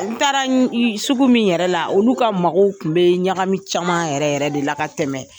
N taara sugu min yɛrɛ la, olu ka magow tun bɛ ɲagami caman yɛrɛ yɛrɛ de la ka tɛmɛ